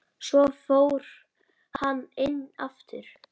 Svo fór hann inn aftur.